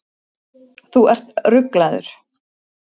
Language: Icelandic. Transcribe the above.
Þú ert ruglaður.